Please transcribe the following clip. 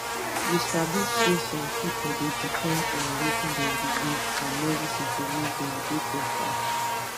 you sabi saysome pipu dey depend on wetin dem believe and medicine to make dem dey beta